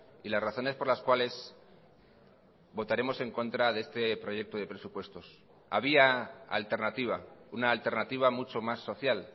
y las razones por las cuales votaremos en contra de este proyecto de presupuestos había alternativa una alternativa mucho más social